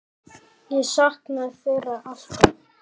Ég saknaði þeirra alltaf.